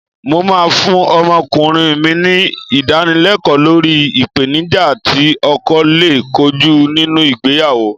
Mó máa fún ọmọkùnrin mi ní Ìdánilẹ́kọ̀ọ́ lórí ìpèníjà tí ọkọ lè kojú nínú ìgbéyàwó